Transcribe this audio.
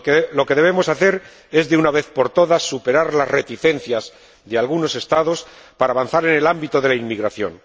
Lo que debemos hacer es, de una vez por todas, superar las reticencias de algunos Estados para avanzar en el ámbito de la inmigración.